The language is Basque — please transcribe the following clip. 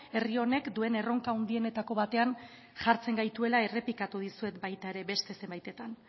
herri honek duen erronka handienetako batean jartzen gaituela errepikatu dizuet baita ere beste zenbaitetan